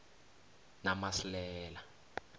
namasilela